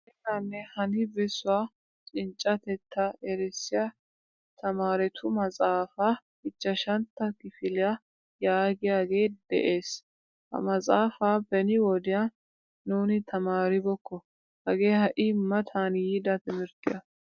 Xeelaane hani besuwaa cinccatetta erissiyaa tamaaretu maxaafaa ichchashshantta kifiliyaa yaagiyaage de'ees. Ha maxaafaa beni wodiyan nuni tamaaribokko. Hagee hai matani yiida timirttiyaa.